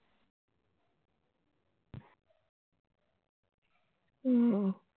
হম